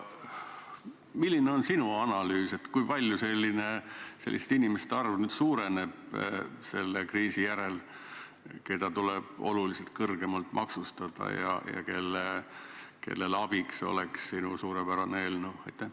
Milline on sinu analüüs, kui palju selliste inimeste arv nüüd suureneb selle kriisi järel, keda tuleb oluliselt kõrgemalt maksustada ja kellele oleks abiks sinu suurepärane eelnõu?